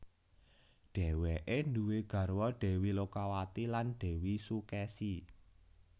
Dhéweké duwé garwa Dèwi Lokawati lan Dèwi Sukèsi